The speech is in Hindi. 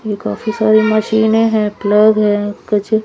ये काफी सारी मशीनें है प्लग है पीछे--